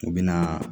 U bɛ na